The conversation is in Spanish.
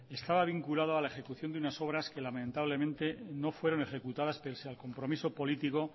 estaba vinculado a la ejecución de unas obras que lamentablemente no fueron ejecutadas pese al compromiso político